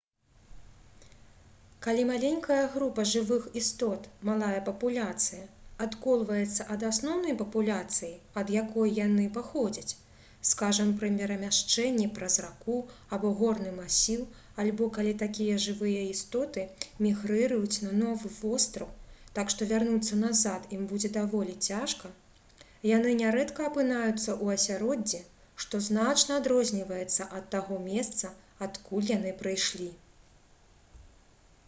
калі маленькая група жывых істот малая папуляцыя адколваецца ад асноўнай папуляцыі ад якой яны паходзяць скажам пры перамяшчэнні праз раку або горны масіў альбо калі такія жывыя істоты мігрыруюць на новы востраў так што вярнуцца назад ім будзе даволі цяжка яны нярэдка апынаюцца ў асяроддзі што значна адрозніваецца ад таго месца адкуль яны прыйшлі